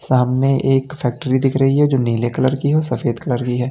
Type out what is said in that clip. सामने एक फैक्ट्री दिख रही है जो नीले कलर की और सफेद कलर की है।